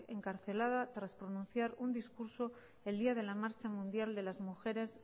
encarcelada tras pronunciar un discurso el día de la marcha mundial de las mujeres